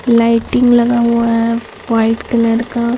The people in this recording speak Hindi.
लाइटिंग लगा हुआ है वाइट कलर का।